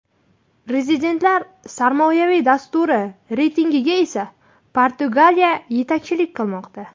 Rezidentlar sarmoyaviy dasturi reytingiga esa Portugaliya yetakchilik qilmoqda.